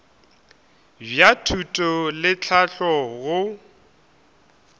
bja thuto le tlhahlo go